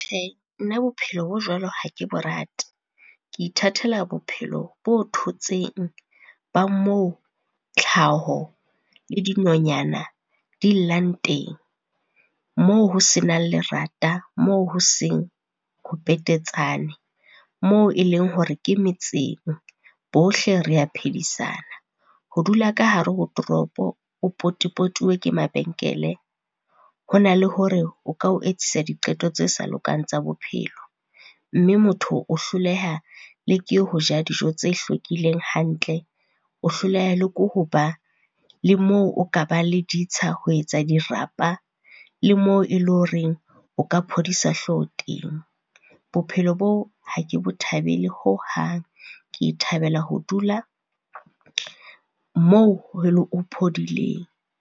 Nna bophelo bo jwalo ha ke bo rate. Ke ithatela bophelo bo thotseng ba moo tlhaho le dinonyana di llang teng, moo ho senang lerata, moo ho seng ho petetsane, moo e leng hore ke metseng, bohle rea phedisana. Ho dula ka hare ho toropo, o potupotuwe ke mabenkele, ho na le hore o ka o etsisa di qeto tse sa lokang tsa bophelo. Mme motho o hloleha le ke ho ja dijo tse hlwekileng hantle, o hloleha le ko ho ba le moo o ka ba le ditsha ho etsa a dirapa, le moo e le horeng o ka phodisa hlooho teng. Bophelo boo, ha ke bo thabele hohang, ke thabela ho dula moo ho phodileng.